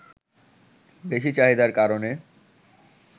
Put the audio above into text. বেশি চাহিদার কারণে